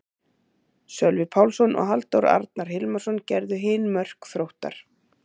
Sölvi Pálsson og Halldór Arnar Hilmisson gerðu hin mörk Þróttar.